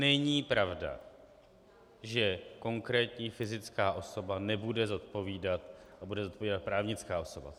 Není pravda, že konkrétní fyzická osoba nebude zodpovídat a bude zodpovídat právnická osoba.